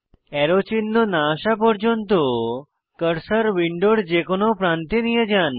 arrow চিহ্ন না আসা পর্যন্ত কার্সার উইন্ডোর যে কোনো প্রান্তে নিয়ে যান